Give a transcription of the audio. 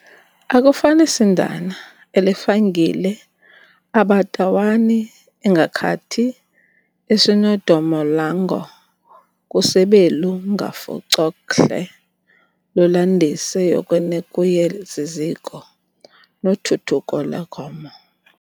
akufanisindana elifangile abatawani engakhathi esinodomolango kusebelu ngavuCokhle lulandise yokweNekuyeziziko noThuthuko le'gomo